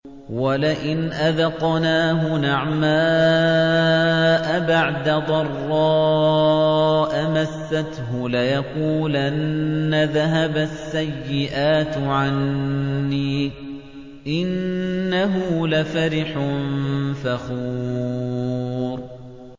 وَلَئِنْ أَذَقْنَاهُ نَعْمَاءَ بَعْدَ ضَرَّاءَ مَسَّتْهُ لَيَقُولَنَّ ذَهَبَ السَّيِّئَاتُ عَنِّي ۚ إِنَّهُ لَفَرِحٌ فَخُورٌ